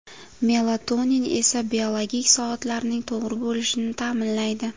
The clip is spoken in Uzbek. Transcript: Melatonin esa, biologik soatlarning to‘g‘ri bo‘lishini ta’minlaydi.